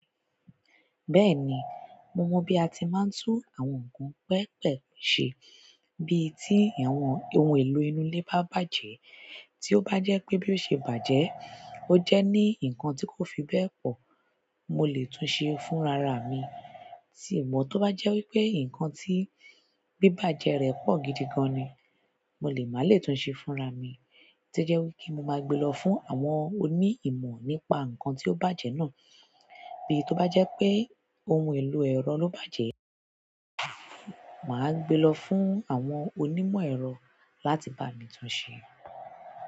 Bẹ́ẹ̀ni, mo mọ bí a ti máa ń tún àwọn ohun pẹpẹpẹ ṣe bí tí àwọn ohun èlò inú ilé bá bàjẹ́. Tí ó bá jẹ́ pé bí ó ṣe bàjẹ́, ó jẹ́ ní ǹnkan tí kò fi bẹ́ẹ̀ pọ̀, mo lè tún ṣe é fúnra ra mi. Tí mo bá tó bá jẹ́ wí pé nǹkan tí bíbàjẹ́ rẹ̀ pọ̀ gidi gan ni, mo lè má lè tún ṣe é fúnra mi, to jẹ́ wí kí mo máa gbe lọ fún àwọn oní ìmọ̀ nípa nǹkan tí ó bàjẹ́ náà. Bí tó bá jẹ́ pé ohun èlò ẹ̀rọ ló bàjẹ́, màá gbe lọ fún àwọn onímọ̀ ẹ̀rọ láti bá mi tún ṣe é.